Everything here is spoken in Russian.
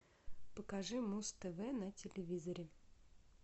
покажи муз тв на телевизоре